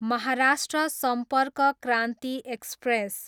Maharashtra Sampark Kranti express